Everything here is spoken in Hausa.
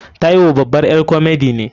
Taiwo babar ƴar komedi ne.